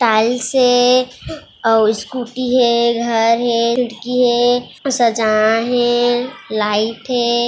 Tiles हे अऊ scooty हे घर हे खिड़की हे सजाय हे लाइट हे।